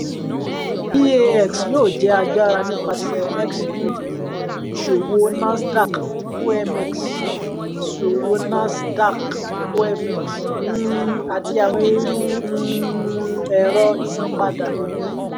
eax yoo jẹ agbara nipasẹ xstream iṣowo nasdaq omx iṣowo nasdaq omx um ati awọn iru um ẹrọ isanpada